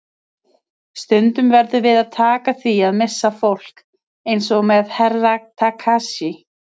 Stundum verðum við að taka því að missa fólk, eins og með Herra Takashi.